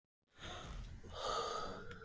Brúnahlíð